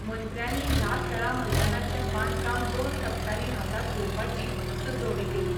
मंत्र्यानी हया खेळां मैदानाचे बांदकाम दोन टप्प्यांनी हातात घेवपाची सूचोवणी केली.